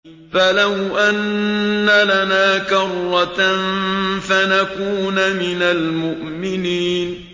فَلَوْ أَنَّ لَنَا كَرَّةً فَنَكُونَ مِنَ الْمُؤْمِنِينَ